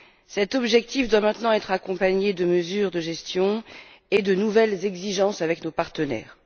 Cet objectif doit maintenant être accompagné de mesures de gestion et de nouvelles exigences à l'égard de nos partenaires.